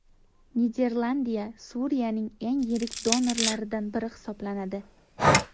Niderlandiya Suriyaning eng yirik donorlaridan biri hisoblanadi.